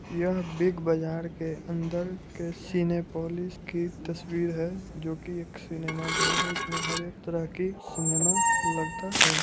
यह बिग बाजार के अंदर के सिनेपोलिस की तस्वीर है जो की एक सिनेमा घर है इसमें हर एक तरह की सिनेमा लगता है।